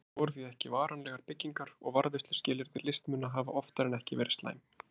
Þetta voru því ekki varanlegar byggingar og varðveisluskilyrði listmuna hafa oftar en ekki verið slæm.